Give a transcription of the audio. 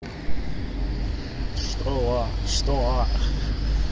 что